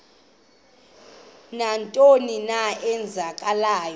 nantoni na eenzekayo